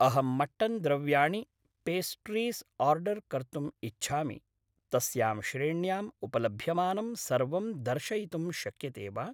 अहं मट्टन् द्रव्याणि, pastries order कर्तुम् इच्छामि, तस्यां श्रेण्याम् उपलभ्यमानं सर्वं दर्शयितुं शक्यते वा?